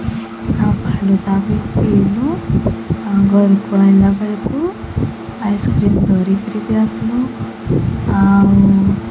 ଆଉ ଘରକୁ ଆସିଲା ବେଳକୁ ଆଇସ-କ୍ରିମ ଧରିକିରି ଆସୁନ ଆଉ --